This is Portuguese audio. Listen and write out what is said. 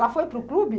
Ela foi para o clube?